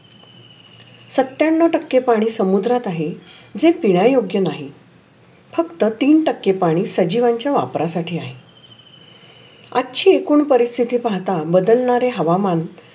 सत्यानऊ टक्के पाणी समुद्रात आहे. जे पियायोग नाही. फक्‍त तीन टक्के पानी सजीवांचे योग्‍य आहे. आचि एकुन परिक्षेचे पहाता बदलनारे हवा मान